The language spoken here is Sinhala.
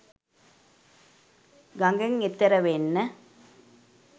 ගඟෙන් එතෙර වෙන්න